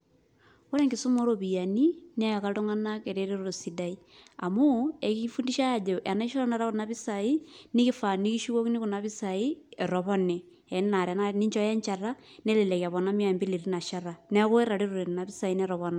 Ore enkisuma oropiyiani, neeka iltung'anak ereteto sidai. Amuu, ekifundishai ajo, tenaisho tanakata kuna pisai, nikifaa nikishukokini kuna pisai, etopone. Enaa tanakata teninchooyo enchata, nelelek epona mia mbili tinashata. Neeku etaretote nena pisai netoponate.